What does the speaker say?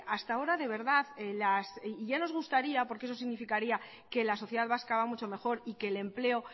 hasta ahora de verdad ya nos gustaría porque eso significaría que la sociedad vasca va mucho mejor y que el empleo